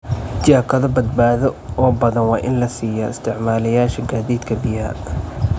Jaakado badbaado oo badan waa in la siiyaa isticmaalayaasha gaadiidka biyaha.